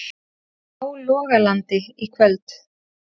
Hálogalandi í kvöld.